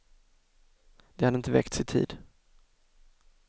De hade inte väckts i tid.